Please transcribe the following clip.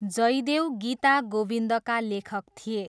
जयदेव गीता गोविन्दका लेखक थिए।